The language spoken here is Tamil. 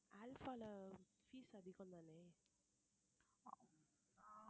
அல்ஃபால fees அதிகம் தானே